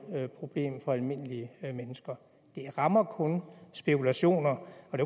problem for almindelige mennesker det rammer kun spekulationer